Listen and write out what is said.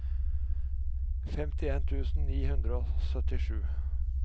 femtien tusen ni hundre og syttisju